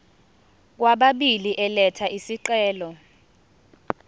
kwababili elatha isicelo